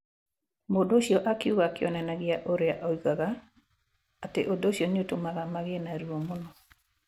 Mũndũ ũcio akiuga akĩonanagia ũrĩa augaga atĩ ũndũ ũcio nĩ ũtũmaga magĩe na ruo mũno.